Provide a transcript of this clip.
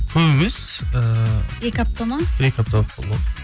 көп емес ііі екі апта ма бір екі апта болып қалды ғой